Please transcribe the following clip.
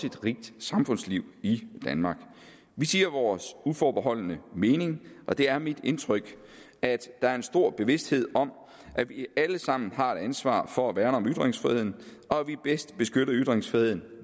et rigt samfundsliv i danmark vi siger vores uforbeholdne mening og det er mit indtryk at der er en stor bevidsthed om at vi alle sammen har et ansvar for at værne om ytringsfriheden og at vi bedst beskytter ytringsfriheden